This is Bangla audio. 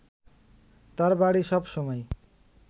তাঁর বাড়ি সব সময়